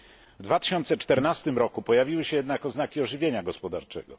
W 2014 roku pojawiły się jednak oznaki ożywienia gospodarczego.